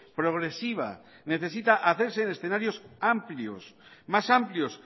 progresiva necesita hacerse en escenarios amplios más amplios